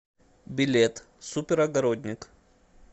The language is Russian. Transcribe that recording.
билет супер огородник